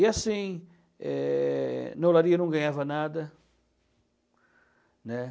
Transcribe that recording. E assim, eh, na olaria não ganhava nada, né.